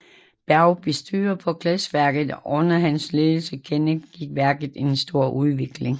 Berg bestyrer på glasværket og under hans ledelse gennemgik værket en stor utvikling